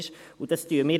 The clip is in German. Dies würdigen wir.